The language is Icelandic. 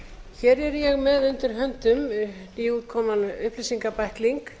hér er ég með undir höndum nýútkominn upplýsingabækling